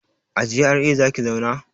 A GRA zaki zauna?